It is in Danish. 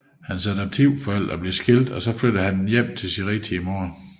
Hans adoptivforældre blev skilt og så flyttede han hjem til sin rigtige mor